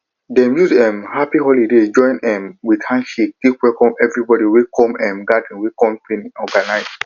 dem use um happy holoday join um with handshake take welcome everibodi wey come um gathering wey company organize